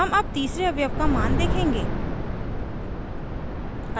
हम अब तीसरे अवयव का मान देखेंगे